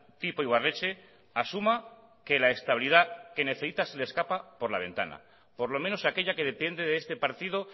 tipo ibarretxe asuma que la estabilidad que necesita se le escapa por la ventana por lo menos aquella que depende de este partido